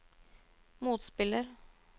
motspiller